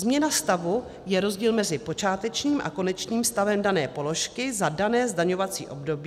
Změna stavu je rozdíl mezi počátečním a konečným stavem dané položky za dané zdaňovací období.